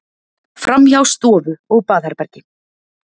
Framhjá stofu og baðherbergi.